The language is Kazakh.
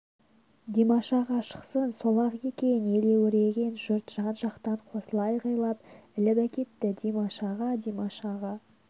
димаш аға шықсын сол-ақ екен елеуіреген жұрт жан-жақтан қосыла айғайлап іліп әкетті димаш аға димаш аға